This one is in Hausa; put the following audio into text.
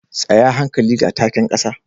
Tsaya hankali ga taken kasa